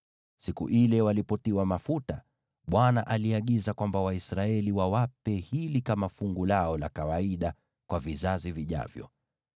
Siku ile walipotiwa mafuta, Bwana aliagiza kwamba Waisraeli wawape hili kama fungu lao la kawaida kwa vizazi vijavyo.